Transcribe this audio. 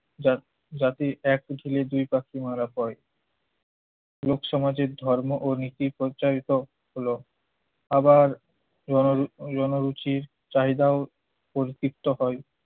জাত জাতি এক ঢিলে দুই পাখি মারা হয়। লোক সমাজের ধর্ম ও নীতি প্রচারিত হলো আবার রণ~ রণ রুচির চাহিদাও পরিতৃপ্ত হয়।